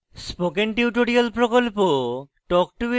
spoken tutorial প্রকল্প talk to a teacher প্রকল্পের অংশবিশেষ